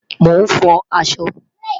Mo n fò àṣọ